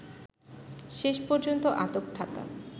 শেষ পর্যন্ত আটক থাকা